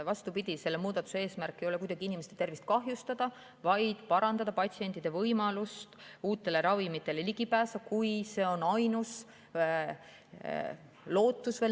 Vastupidi, selle muudatuse eesmärk ei ole kuidagi inimeste tervist kahjustada, vaid parandada patsientide võimalust uutele ravimitele ligi pääseda, kui see on nende ainus lootus.